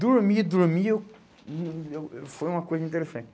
Dormir, dormir, eu, hum, eu, eu, foi uma coisa interessante.